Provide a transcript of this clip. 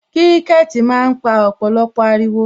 Kiriketi máa ń pa ọ̀pọ̀lọpọ̀ ariwo